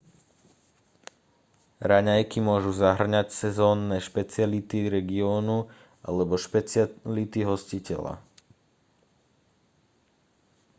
raňajky môžu zahŕňať sezónne špeciality regiónu alebo špeciality hostiteľa